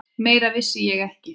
Meira vissi ég ekki.